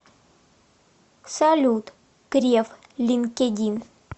салют греф линкедин